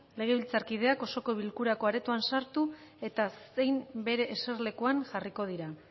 legebiltzarkideak osoko bilkurako aretoan sartu eta zein bere eserlekuan jarriko dira